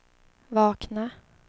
vakna